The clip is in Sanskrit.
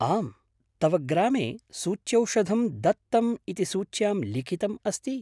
आम्, तव ग्रामे सूच्यौषधं दत्तम् इति सूच्यां लिखितम् अस्ति।